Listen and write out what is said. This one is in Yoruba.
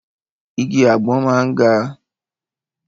Igi àgbọn máa ń ga.